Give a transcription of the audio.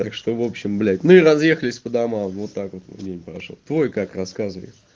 так что в общем блять ну и разъехались по домам вот так вот мой день прошёл твой как рассказывай